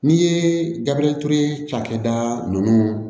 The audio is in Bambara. N'i ye gabriel ture cakɛda ninnu